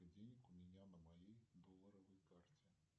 сколько денег у меня на моей долларовой карте